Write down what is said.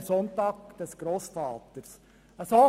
Der Sonntag des Grossvaters».